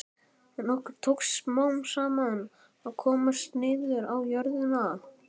En okkur tókst smám saman að komast niður á jörðina.